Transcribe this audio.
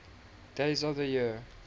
days of the year